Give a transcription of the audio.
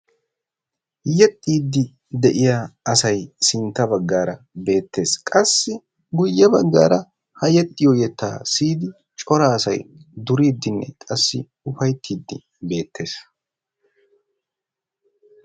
Yeexxiidi de'iyaa asay sintta baggaara beettees. Qassi guyye baggaara ha yexioyo yetta siiyidi cora asay duuriidinne qassi ufayttiidi beettees.